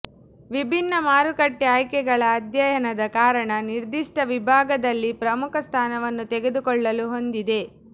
ವಿಭಿನ್ನ ಮಾರುಕಟ್ಟೆ ಆಯ್ಕೆಗಳ ಅಧ್ಯಯನದ ಕಾರಣ ನಿರ್ದಿಷ್ಟ ವಿಭಾಗದಲ್ಲಿ ಪ್ರಮುಖ ಸ್ಥಾನವನ್ನು ತೆಗೆದುಕೊಳ್ಳಲು ಹೊಂದಿದೆ